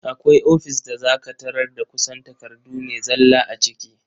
Akwai ofis da za ka tarar da kusan takardu ne zalla a ciki.